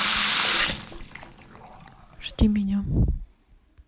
жди меня